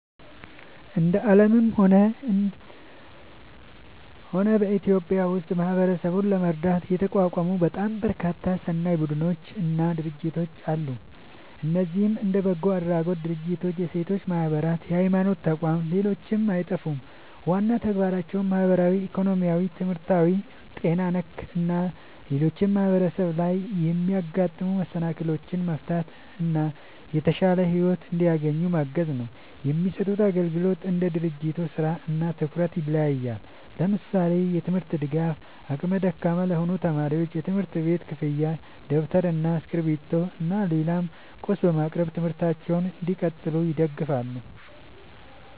እንደ አለምም ሆነ በኢትዮጵያ ውስጥ ማህበረሰብን ለመርዳት የተቋቋሙ በጣም በርካታ ሰናይ ቡድኖች እና ድርጅቶች አለ። እነዚህም እንደ በጎ አድራጎት ድርጅቶች፣ የሴቶች ማህበራት፣ የሀይማኖት ተቋም ሌሎችም አይጠፉም። ዋና ተግባራቸውም ማህበራዊ፣ ኢኮኖሚያዊ፣ ትምህርታዊ፣ ጤና ነክ እና ሌሎችም ማህበረሰብ ላይ የሚያጋጥሙ መሰናክሎችን መፍታት እና የተሻለ ሒወት እንዲያገኙ ማገዝ ነው። የሚሰጡት አግልግሎት እንደ ድርጅቱ ስራ እና ትኩረት ይለያያል። ለምሳሌ፦ የትምርት ድጋፍ አቅመ ደካማ ለሆኑ ተማሪዎች የትምህርት ቤት ክፍያ ደብተር እና እስክሪብቶ እና ሌላም ቁስ በማቅረብ ትምህርታቸውን እንዲቀጥሉ ይደግፋሉ